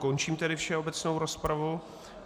Končím tedy všeobecnou rozpravu.